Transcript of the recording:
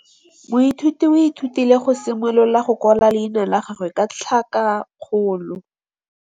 Moithuti o ithutile go simolola go kwala leina la gagwe ka tlhakakgolo.